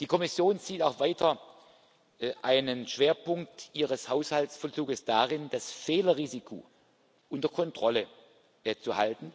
Die Kommission sieht auch weiter einen Schwerpunkt ihres Haushaltsvollzugs darin, das Fehlerrisiko unter Kontrolle zu halten